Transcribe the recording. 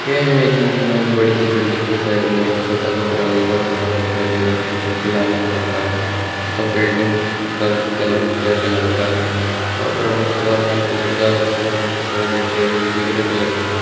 ये इमेज में हमे एक बड़ी सी बिल्डिंग के साइड में छोटा सा प्रवेश द्वार बनाया दिख रहा है जो की लाल कलर का है तथा बिल्डिंग का कलर ग्रे कलर का है और प्रवेश द्वार लाल कलर का है उसके सामने सड़क दिख रही है जो की ग्रे कलर की है।